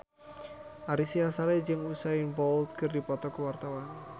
Ari Sihasale jeung Usain Bolt keur dipoto ku wartawan